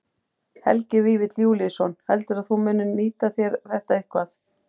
Helgi Vífill Júlíusson: Heldurðu að þú munir nýta þér þetta eitthvað?